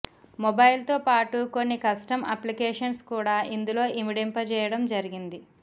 మొబైల్తో పాటు కొన్ని custom applications కూడా ఇందులో ఇమడింపజేయడం జరిగింది